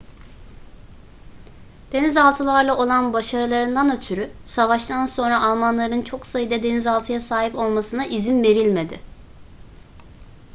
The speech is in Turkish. denizaltılarla olan başarılarından ötürü savaştan sonra almanların çok sayıda denizaltıya sahip olmasına izin verilmedi